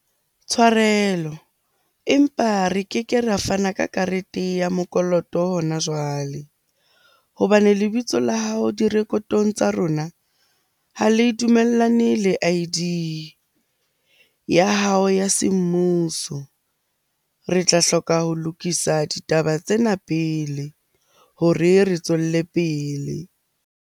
Tshwarelo, empa re keke ra fana ka karete ya mokoloto hona jwale hobane lebitso la hao direkotong tsa rona, ha le dumellane le I_D ya hao ya semmuso. Re tla hloka ho lokisa ditaba tsena pele hore re tswelle pele.